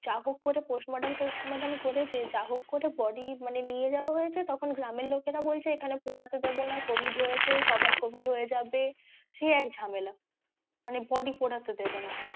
যা হোক করে postmortem করে যা হোক করে মানে body নিয়ে যাওয়া হয়েছে তখন গ্রামের লোকেরা বলছে এখানে পোড়াতে দেবো না covid হয়েছে সবার covid হয়ে যাবে সে এক ঝামেলা মানে body পোড়াতে দেবেনা।